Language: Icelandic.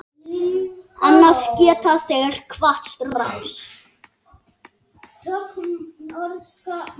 Annars geta þeir kvatt strax.